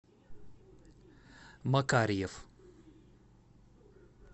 макарьев